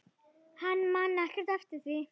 Hann man ekkert eftir því.